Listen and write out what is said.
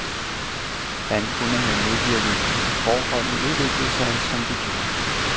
Han kunne have modvirket, at forholdene udviklede sig, som de gjorde.